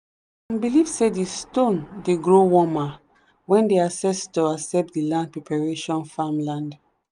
some believe say the stone dey grow warmer when the ancestor accept the land preparation farmland.